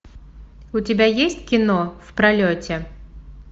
у тебя есть кино в пролете